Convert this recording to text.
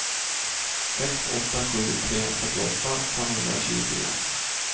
sex åtta sju tre fyrtioåtta femhundratjugofyra